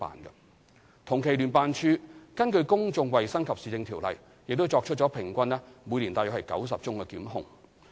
聯辦處根據《公眾衞生及市政條例》作出平均每年約90宗檢控。